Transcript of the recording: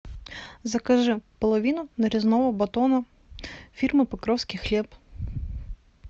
закажи половину нарезного батона фирмы покровский хлеб